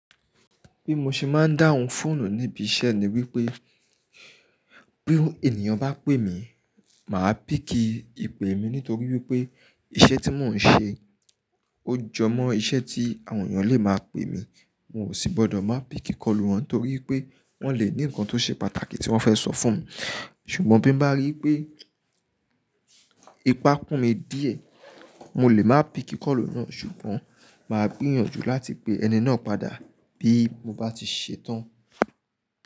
Bí mo ṣe máa ń dáhùn fóònù níbi iṣẹ́ ni wípé bí ènìyàn bá pè mí, mà á pícki ìpè mi nítorí wípé iṣẹ́ tí mò ń ṣe o jọ mọ́ iṣẹ́ tí àwọn èèyàn lè máa pè mí. No sì gbọ́dọ̀ máa píki kọlu wọn torí pé wọ́n lè ní nǹkan tó ṣe pàtàkì tí wọ́n fẹ́ sọ fún mi. Ṣùgbọ́n bí mo bá rí pé ipá kún mi díẹ̀, mo lè máa píki kọlu náà, ṣùgbọ́n mà á gbìyànjú láti pe ẹni náà padà bí mo bá ti ṣetán.